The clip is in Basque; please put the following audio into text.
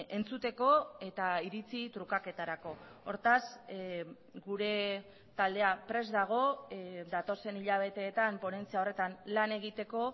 entzuteko eta iritzi trukaketarako hortaz gure taldea prest dago datozen hilabeteetan ponentzia horretan lan egiteko